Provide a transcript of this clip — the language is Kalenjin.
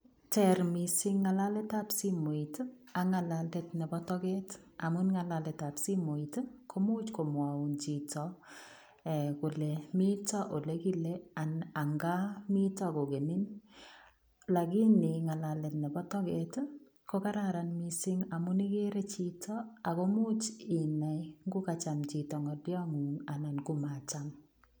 Teer missing ngalalet ab simoit ii ak ngalalet ab nebo toget amuun ngalalet ab simoit ii komuuch komwauun chitoo kole mitaa ole kole anan an kaa miten kogenin lakini ngalalet nebo toget ii ko kararan missing amuun igere chitoo akomuuch inai ngo kacham chitoo ngalian nguun anan ko macham.